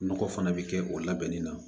Nɔgɔ fana bɛ kɛ o labɛnni na